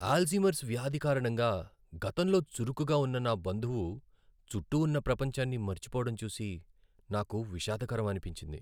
Alzheimer's వ్యాధి కారణంగా గతంలో చురుకుగా ఉన్న నా బంధువు చుట్టూ ఉన్న ప్రపంచాన్ని మరచిపోవడం చూసి నాకు విషాదకరం అనిపించింది.